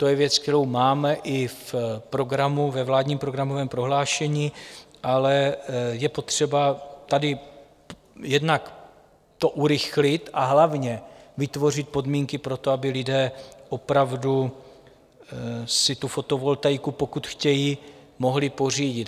To je věc, kterou máme i v programu, ve vládním programovém prohlášení, ale je potřeba tady jednak to urychlit, a hlavně vytvořit podmínky pro to, aby lidé opravdu si tu fotovoltaiku, pokud chtějí, mohli pořídit.